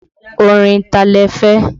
Orin ta lẹ́ fẹ́?